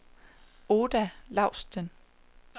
Oda Laustsen